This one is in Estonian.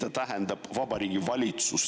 Mida tähendab siin "Vabariigi Valitsus"?